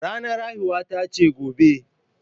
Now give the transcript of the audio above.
Ranar haihuwata ce gobe.